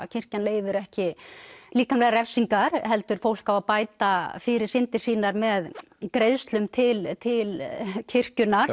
kirkjan leyfir ekki líkamlegar refsingar heldur fólk á að bæta fyrir syndir sínar með greiðslum til til kirkjunnar